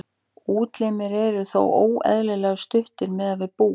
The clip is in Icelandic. útlimir eru þá óeðlilega stuttir miðað við búk